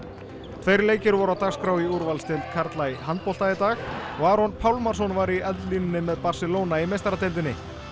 tveir leikir voru á dagskrá í úrvalsdeild karla í handbolta í dag og Aron Pálmarsson var í eldlínunni með Barcelona í meistaradeildinni